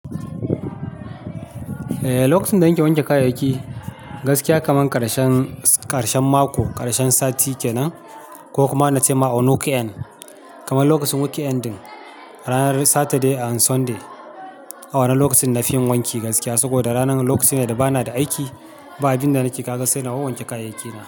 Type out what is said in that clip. Eh, lokacin da nake wanke kayayyaki gaskiya kamar ƙarshen mako, ƙarshen sati kenan ko kuma na ce on week end, kaman lokacin week ending, ranar Saturday and Sunday. Awannan lokacin nafi wanki gaskiya saboda ranar, lokaci ne da bana da aiki, ba abin da nake kaga sai na wanke kayayyakina.